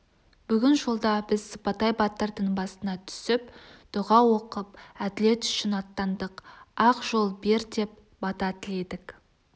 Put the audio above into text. бүгін жолда біз сыпатай батырдың басына түсіп дұға оқып әділет үшін аттандық ақ жол беп деп бата тіледік